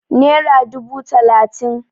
Nera dubu talatin